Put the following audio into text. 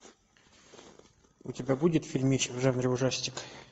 у тебя будет фильмич в жанре ужастик